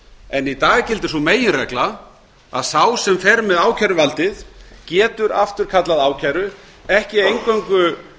en í dag gildir sú meginregla að sá sem fer með ákæruvaldið getur afturkallað ákæru ekki eingöngu